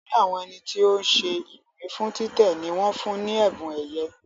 Olórí àwọn ẹni tí ó ń ṣe ìwé fún títẹ̀ ní wọ́n fún ní ẹ̀bùn ẹ̀yẹ